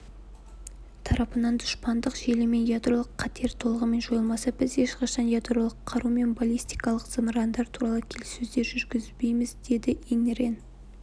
тарапынан дұшпандық желі мен ядролық қатер толығымен жойылмаса біз ешқашан ядролық қару мен баллистикалық зымырандар туралы келіссөздер жүргізбейміз деді ин рен